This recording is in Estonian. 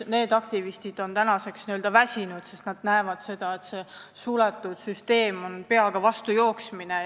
Need aktivistid on tänaseks väsinud, sest nad näevad, et see on peaga vastu suletud süsteemi jooksmine.